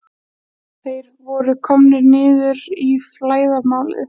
Þeir voru komnir niður í flæðarmálið.